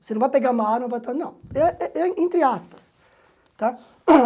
Você não vai pegar uma arma e vai falar, não, ah ah ah entre aspas, tá?